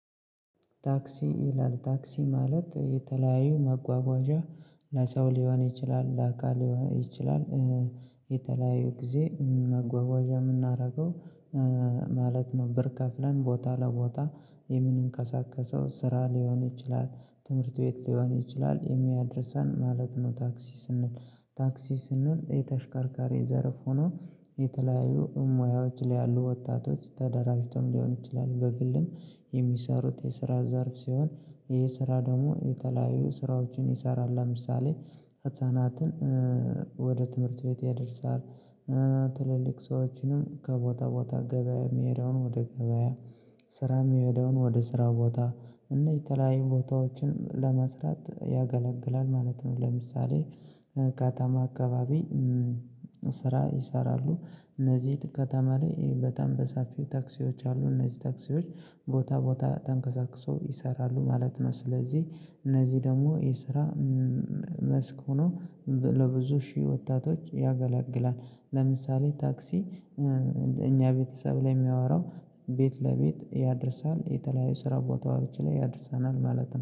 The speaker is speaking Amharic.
ታክሲ ይላል ታክሲ ማለት የተለያዩ መጓጓዣ ለሰው ሊሆን ይችላል። ለአካል ሊሆን ይችላል የተለያዩ ጊዜ መጓጓዣ የምናደርገው ማለት ነው። ብር ከፍለን ቦታ ለቦታ የምንቀሳቀሰው ስራ ሊሆን ይችላል፣ ትምህርት ቤት ሊሆን፣ ይችላል የሚያደርሰን ማለት ነው። ታክሲ ስንል ታክሲ ስንል የተሽከርካሪ ዘርፍ ሆኖ የተለያዩ ሙያዎች ላይ ያሉ ወጣቶች ተደራጅተውም ሊሆን ይችላል፣ በግልም የሚሰሩት የስራ ዘርፍ ሲሆን፣ ይሄ ስራ ደግሞ የተለያዩ ስራዎችን ይሰራል፣ ለምሳሌ ህፃናትን ወደ ትምህርት ቤት ያደርሳል ትልልቅ ሰዎችን ከቦታ ቦታ ገበያ የሚሄድውን ወደ ገበያ ስራ የሚሄደውን ወደ ስራ ቦታ እና የተለያዩ ቦታዎችን ለመስራት ያገለግላል ማለት ነው ለምሳሌ ከተማ አካባቢ ስራ ይሰራሉ። እነዚህ ከተማ ላይ በጣም በሰፊው ታክሲዎች አሉ። እነዚህ ታክሲዎች ቦታ ቦታ ተንቀሳቅሰው ይሰራሉ ማለት ነው። ስለዚህ እነዚህ ደግሞ የስራ መስክ ሆኖ ለብዙ ሺህ ወጣቶች ያገላግላል። ለምሳሌ ታክሲ እኛ ቤተሰብ ላይ የሚያወራው ቤት ለቤት ያደርሳል የተለያዩ ስራ ቦታዎች ላይ ያደርሰናል ማለት ነው